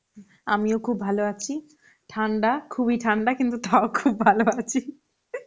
আমিও খুব ভালো আছি, ঠান্ডা খুব এ ঠান্ডা কিন্তু তাও খুব এ ভালো আছি